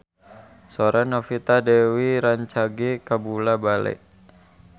Sora Novita Dewi rancage kabula-bale